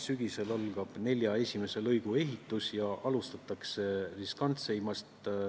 Sügisel algab nelja esimese lõigu ehitus ja alustatakse riskantseimast.